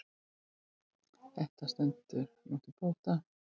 Þetta stendur nú til bóta.